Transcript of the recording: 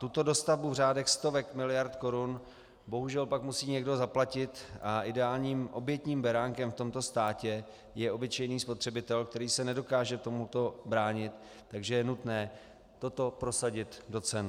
Tuto dostavbu v řádech stovek miliard korun bohužel pak musí někdo zaplatit a ideálním obětním beránkem v tomto státě je obyčejný spotřebitel, který se nedokáže tomuto bránit, takže je nutné toto prosadit do cen.